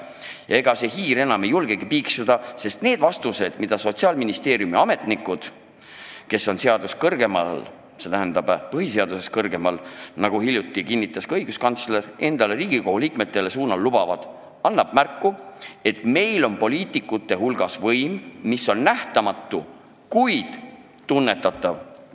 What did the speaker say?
Ja ega hiired enam ei julgegi piiksuda, sest need vastused, mida Sotsiaalministeeriumi ametnikud, kes on põhiseadusest kõrgemal, nagu hiljuti möönis ka õiguskantsler, endale Riigikogu liikmetele anda lubavad, annavad märku teatud poliitikute nähtamatust, kuid tunnetatavast võimust.